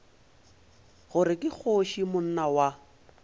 gore ke kgoši monna wa